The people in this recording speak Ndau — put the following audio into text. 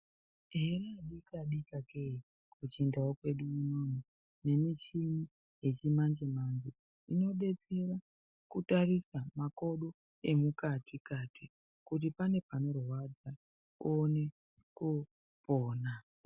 Here adikadika kee kuchindau kwedu unono mechini yechimanje-manje. Inobetsera kutarisa makodo emukati kuti pane panorwadza unone kopona.